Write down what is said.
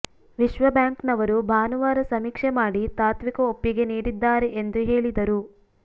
ವಿಶ್ವಬ್ಯಾಂಕ್ನವರು ಭಾನುವಾರ ಸಮೀಕ್ಷೆ ಮಾಡಿ ತಾತ್ವಿಕ ಒಪ್ಪಿಗೆ ನೀಡಿದ್ದಾರೆ ಎಂದು ಹೇಳಿದರು